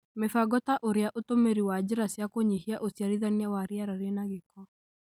Mĩbango ta ũrĩa ũtũmĩri wa njĩra cia kũnyihia ũciarithania wa rĩera rĩna gĩko,